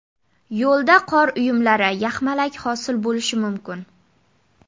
Yo‘lda qor uyumlari, yaxmalak hosil bo‘lishi mumkin.